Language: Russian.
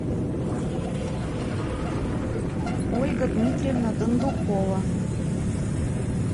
ольга дмитриевна дондукова